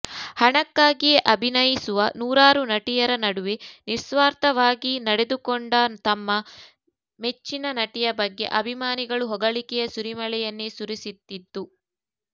ಹಣಕ್ಕಾಗಿಯೇ ಅಭಿನಯಿಸುವ ನೂರಾರು ನಟಿಯರ ನಡುವೆ ನಿಸ್ವಾರ್ಥವಾಗಿ ನಡೆದುಕೊಂಡ ತಮ್ಮ ಮೆಚ್ಚಿನ ನಟಿಯ ಬಗ್ಗೆ ಅಭಿಮಾನಿಗಳು ಹೊಗಳಿಕೆಯ ಸುರಿಮಳೆಯನ್ನೇ ಸುರಿಸುತಿದ್ದು